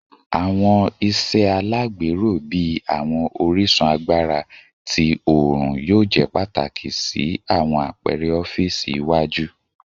Awọn iṣe alagbero bii awọn orisun agbara ti oorun yoo jẹ pataki si awọn apẹrẹ ọfiisi iwaju